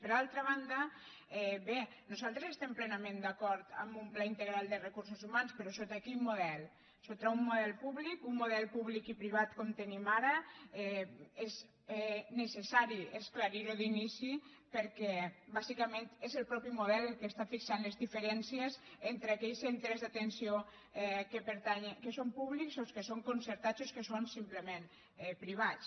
per altra banda bé nosaltres estem plenament d’acord en un pla integral de recursos humans però sota quin model sota un model públic un model públic i pri·vat com el tenim ara és necessari esclarir·ho d’ini·ci perquè bàsicament és el mateix model el que es·tà fixant les diferències entre aquells centres d’atenció que són públics o els que són concertats o els que són simplement privats